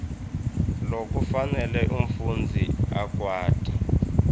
lokufanele umfundzi akwati